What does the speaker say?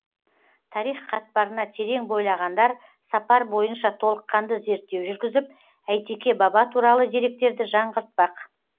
тарих қатпарына терең бойлағандар сапар бойынша толыққанды зерттеу жүргізіп әйтеке баба туралы деректерді жаңғыртпақ